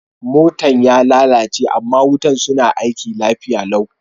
Motan ya lallace ama wutan suna aiki lafiya lau.